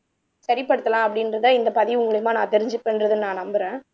சரி படுத்தலாம் அப்படின்றத இந்த பதிவு மூலியமா நான் தெரிஞ்சுப்பன்றத நான் நம்புறேன்